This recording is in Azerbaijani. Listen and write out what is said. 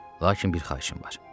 Lakin bir xahişim var.